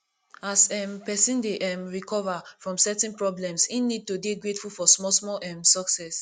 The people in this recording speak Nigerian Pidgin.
as um person dey um recover from certain problems im need to dey grateful for small small um success